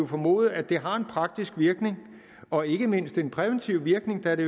formode at det har en praktisk virkning og ikke mindst en præventiv virkning da det